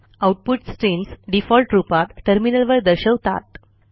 output streams default रूपात टर्मिनलवर दर्शवतात